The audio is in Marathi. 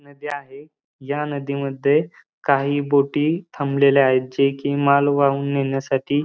नदी आहे या नदीमध्ये काही बोटी थांबलेल्या आहेत जे कि माल वाहून नेण्यासाठी --